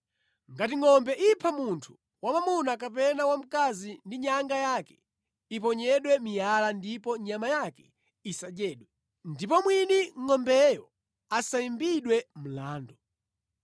“Ngati ngʼombe ipha munthu wamwamuna kapena wamkazi ndi nyanga yake, iponyedwe miyala ndipo nyama yake isadyedwe. Ndipo mwini ngʼombeyo asayimbidwe mlandu.